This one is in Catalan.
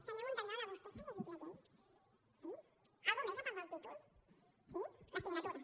senyor montañola vostè s’ha llegit la llei sí alguna cosa més a part del títol sí la signatura